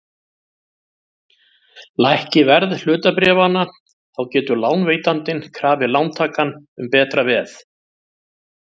Lækki verð hlutabréfanna þá getur lánveitandinn krafið lántakann um betra veð.